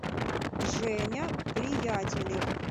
женя приятелев